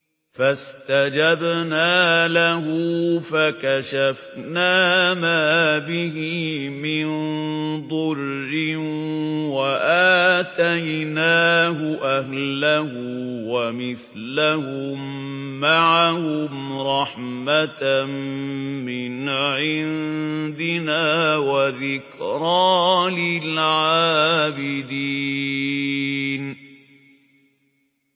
فَاسْتَجَبْنَا لَهُ فَكَشَفْنَا مَا بِهِ مِن ضُرٍّ ۖ وَآتَيْنَاهُ أَهْلَهُ وَمِثْلَهُم مَّعَهُمْ رَحْمَةً مِّنْ عِندِنَا وَذِكْرَىٰ لِلْعَابِدِينَ